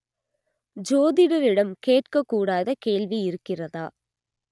ஜோதிடரிடம் கேட்கக் கூடாத கேள்வி இருக்கிறதா